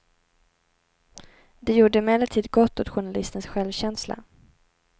Det gjorde emellertid gott åt journalistens självkänsla.